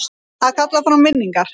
Að kalla fram minningar